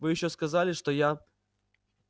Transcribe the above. вы ещё сказали что я